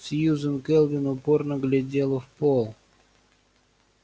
сьюзен кэлвин упорно глядела в пол